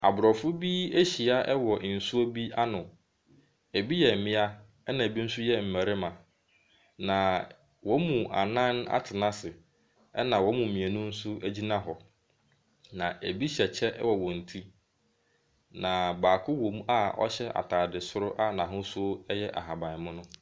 Aborɔfo bi ahyia wɔ nsuo bi ano. Ebi yɛ mmea ɛna ebi nso yɛ mmarima. Na wɔn mu anan atena ase ɛna wɔn mu mmienu nso gyina hɔ. Na ebi hyɛ kyɛ wɔ wɔn ti. Na baako wom a ɔhyɛ ataade soro a n’ahosuo yɛ ahaban mono.